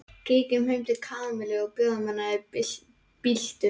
Kíkjum heim til Kamillu og bjóðum henni í bíltúr